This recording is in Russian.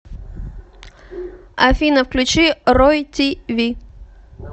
афина включи рой ти ви